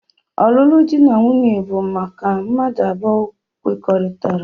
Ọlụlụ di na nwunye bụ mmadụ abụọ kwekọrịtara.